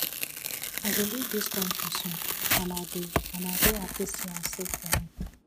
i go leave dis country soon and i dey and i dey happy say i save for am